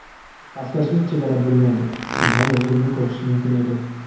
Pastkashlik chegara bilmaydi”, degan yozuvni ko‘rish mumkin edi.